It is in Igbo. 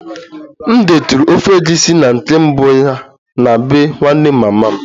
M detụrụ ofe egusi na nke mbụ ya n'bee nwanne mama m